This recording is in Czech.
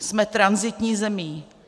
Jsme tranzitní zemí.